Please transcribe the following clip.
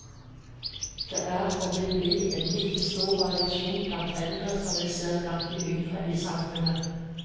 Det er og vil bli en like stor variasjon blant eldre som vi ser blant de yngre i samfunnet.